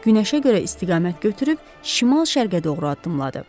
Günəşə görə istiqamət götürüb şimal-şərqə doğru addımladı.